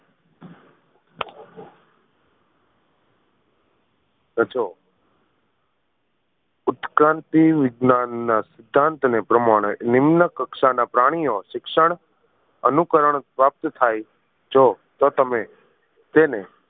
ઉત્ક્રાંતિ વિજ્ઞાનના સિદ્ધાંત ને પ્રમાણે નિમ્ન કક્ષા ના પ્રાણીઑ શિક્ષણ અનુકરણ પ્રાપ્ત થાય જો તમે તેને